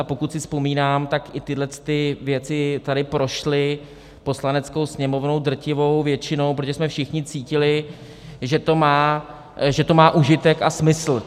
A pokud si vzpomínám, tak i tyhle věci tady prošly Poslaneckou sněmovnou drtivou většinou, protože jsme všichni cítili, že to má užitek a smysl.